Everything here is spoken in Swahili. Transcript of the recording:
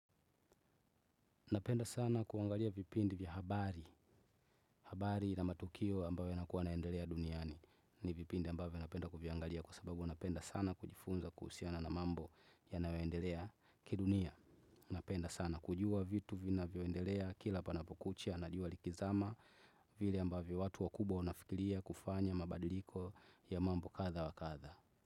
Napenda sana kuangalia vipindi vya habari. Habari na matukio ambayo yanakuwa yanaendelea duniani. Ni vipindi ambavyo napenda kuviangalia kwa sababu napenda sana kujifunza kuhusiana na mambo ya nayoendelea ki dunia. Napenda sana kujua vitu vina vyoendelea kila panapo kucha na jua likizama vile ambavyo watu wa kubwa wanafikilia kufanya mabadiliko ya mambo kadhaa wa kadhaa.